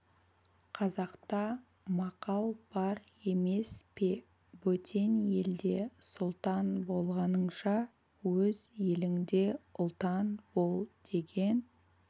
қазақта мақал бар емес пе бөтен елде сұлтан болғаныңша өз еліңде ұлтан бол деген